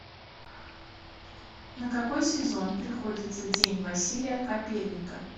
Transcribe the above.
на какой сезон приходится день василия капельника